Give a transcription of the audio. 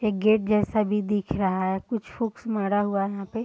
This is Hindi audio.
एक गेट जैसा भी दिख रहा है कुछ हुक्स मारा हुआ यहाँ पे --